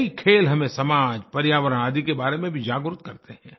कई खेल हमें समाज पर्यावरण आदि के बारे में भी जागरूक करते हैं